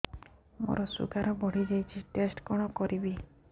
ମୋର ଶୁଗାର ବଢିଯାଇଛି ଟେଷ୍ଟ କଣ କରିବି